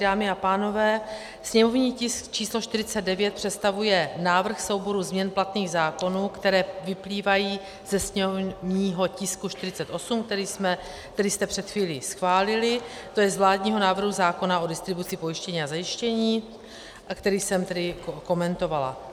Dámy a pánové, sněmovní tisk číslo 49 představuje návrh souboru změn platných zákonů, které vyplývají ze sněmovního tisku 48, který jste před chvílí schválili, tj. z vládního návrhu zákona o distribuci pojištění a zajištění, a který jsem tedy komentovala.